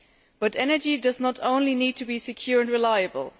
But energy does not only need to be secure and reliable